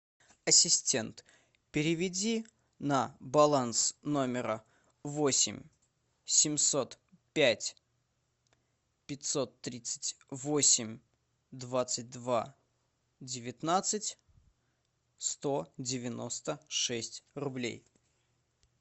ассистент переведи на баланс номера восемь семьсот пять пятьсот тридцать восемь двадцать два девятнадцать сто девяносто шесть рублей